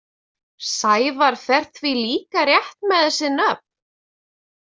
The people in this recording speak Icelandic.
Sævar fer því líka rétt með þessi nöfn.